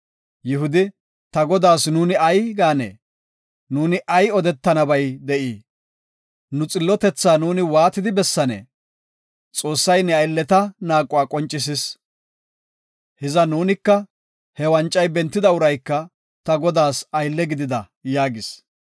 Yihudi, “Ta godaas nuuni ay gaanee? Nuuni ay odetiyabay de7ii? Nu xillotetha nuuni waati bessanee? Xoossay ne aylleta naaquwa qoncisis. Hiza nuunika he wancay bentida urayka ta godaas aylle gidida” yaagis.